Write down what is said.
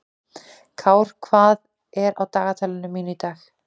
Kár, hvað er á dagatalinu mínu í dag?